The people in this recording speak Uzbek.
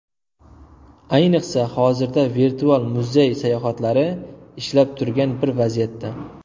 Ayniqsa, hozirda virtual muzey sayohatlari ishlab turgan bir vaziyatda.